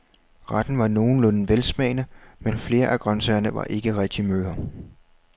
Retten var nogenlunde velsmagende, men flere af grøntsagerne var ikke rigtig møre.